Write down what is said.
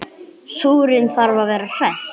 Súrinn þarf að vera hress!